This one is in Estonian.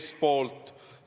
– seestpoolt.